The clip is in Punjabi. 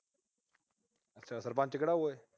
ਅੱਛਾ। ਸਰਪੰਚ ਕਿਹੜਾ ਉਰੇ।